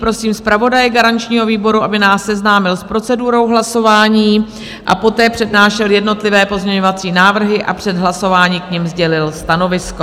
Prosím zpravodaje garančního výboru, aby nás seznámil s procedurou hlasování a poté přednášel jednotlivé pozměňovací návrhy a před hlasováním k nim sdělil stanovisko.